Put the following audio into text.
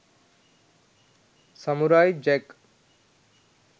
samurai jack